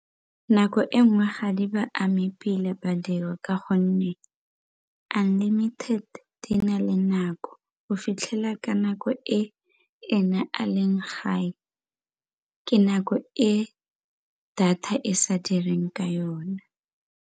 Nako e nngwe ga di ba ame pila badiri ka gonne unlimited di na le nako go fitlhela ka nako e ena a leng gae ke nako e data e sa direng ka yone.